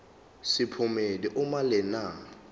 sephomedi uma lena